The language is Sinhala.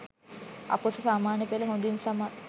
අ.පො.ස. සාමාන්‍ය පෙළ හොදින් සමත්